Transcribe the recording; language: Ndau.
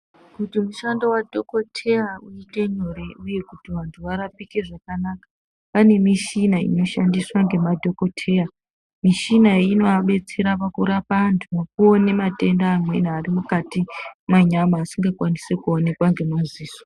Kuti mushando wadhokodheya uite nyore uye kuti vantu varapike zvakanaka, pane mishina inoshandiswa ngemadhokoteya. Mishina iyi inoabetsera pakurapa antu nekuone matenda amweni ari mwukati mwenyama asingakwanisi kuonekwa ngemaziso.